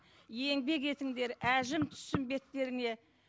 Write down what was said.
еңбек етіңдер әжім түссін беттеріңе